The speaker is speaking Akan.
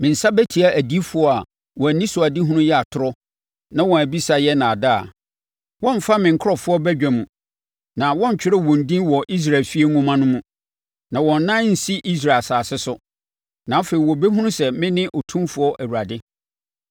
Me nsa bɛtia adiyifoɔ a wɔn anisoadehunu yɛ atorɔ na wɔn abisa yɛ nnaadaa. Wɔremfra me nkurɔfoɔ badwafoɔ mu, na wɔrentwerɛ wɔn din wɔ Israel efie nwoma no mu, na wɔn nan rensi Israel asase so. Na afei wɔbɛhunu sɛ mene Otumfoɔ Awurade.